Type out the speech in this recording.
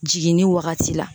Jiginni wagati la